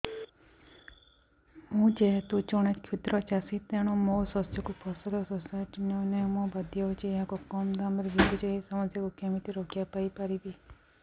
ମୁଁ ଯେହେତୁ ଜଣେ କ୍ଷୁଦ୍ର ଚାଷୀ ତେଣୁ ମୋ ଶସ୍ୟକୁ ଫସଲ ସୋସାଇଟି ନେଉ ନାହିଁ ମୁ ବାଧ୍ୟ ହୋଇ ଏହାକୁ କମ୍ ଦାମ୍ ରେ ବିକୁଛି ଏହି ସମସ୍ୟାରୁ କେମିତି ରକ୍ଷାପାଇ ପାରିବି